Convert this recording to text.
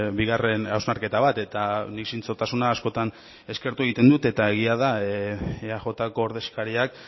bigarren hausnarketa bat eta nik zintzotasuna askotan eskertu egiten dut eta egia da eajko ordezkariak